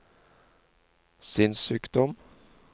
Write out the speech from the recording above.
sinnssykdom